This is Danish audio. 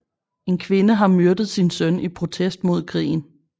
En kvinde har myrdet sin søn i protest mod krigen